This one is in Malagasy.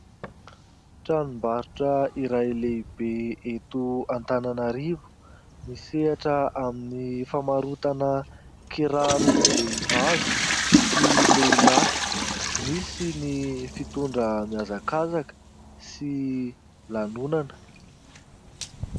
Tranom-barotra iray lehibe eto Antananarivo, misehatra amin'ny famarotana kirarom-behivavy sy lehilahy. Misy ny fitondra mihazakazaka sy lanonana.